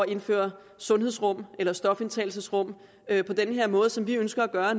indføre sundhedsrum eller stofindtagelsesrum på den her måde som vi ønsker at gøre